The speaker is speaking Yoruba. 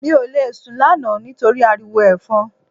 Mi ò lè sùn lánàá nítorí ariwo Ẹ̀fọn